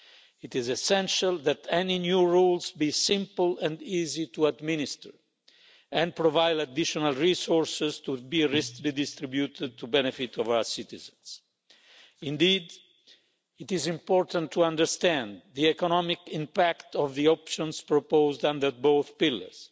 It is essential that any new rules be simple and easy to administer and provide additional resources to be redistributed to the benefit of our citizens. Indeed, it is important to understand the economic impact of the options proposed under both pillars,